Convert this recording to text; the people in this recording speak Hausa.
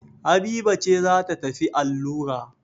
Habiba ce za ta tafi allura.